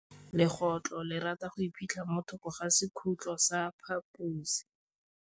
Legôtlô le rata go iphitlha mo thokô ga sekhutlo sa phaposi.